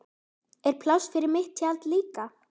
Er pláss fyrir mitt tjald líka?